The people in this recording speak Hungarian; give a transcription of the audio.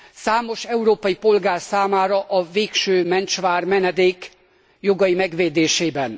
Számos európai polgár számára a végső mentsvár, menedék jogai megvédésében.